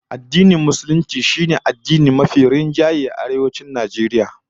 Addinin Musulunci shine addini mafi rinjaye a Arewacin Najeriya